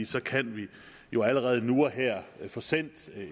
så kan vi jo allerede nu og her få sendt